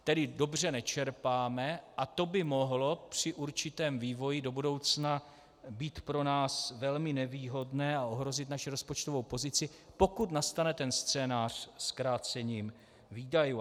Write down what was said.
Tedy dobře nečerpáme a to by mohlo při určitém vývoji do budoucna být pro nás velmi nevýhodné a ohrozit naši rozpočtovou pozici, pokud nastane ten scénář s krácením výdajů.